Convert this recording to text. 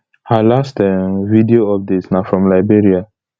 her last um video update na from liberia